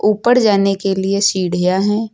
ऊपर जाने के लिए सीढ़ियां हैं।